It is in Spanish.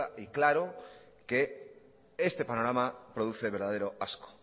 y claro que este panorama produce verdadero asco